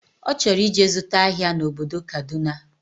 Ọchọrọ ije zụta ahia na obodo Kaduna